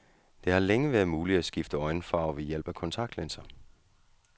Det har længe været muligt at skifte øjenfarve ved hjælp af kontaktlinser.